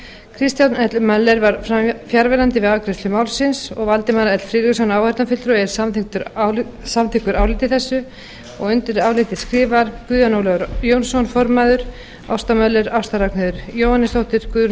kristján l möller var fjarverandi við afgreiðslu málsins valdimar l friðriksson áheyrnarfulltrúi er samþykkur áliti þessu undir álitið skrifa guðjón ólafur jónsson ásta möller ásta ragnheiður jóhannesdóttir guðrún